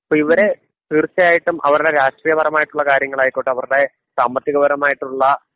അപ്പോ ഇവര് തീർച്ചയായിട്ടും അവരുടെ രാഷ്ട്രീയപരമായിട്ടുള്ള കാര്യങ്ങളായിക്കോട്ടെ അവരുടെ സാമ്പത്തിക പരമായിട്ടുള്ള